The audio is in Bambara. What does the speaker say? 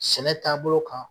Sɛnɛ taabolo kan ?